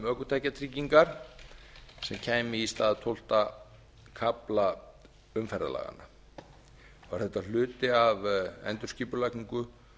ökutækjatryggingar sem kæmi í stað tólfta kafla umferðarlaganna var þetta hluti af endurskipulagningu